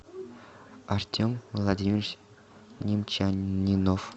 артем владимирович немчанинов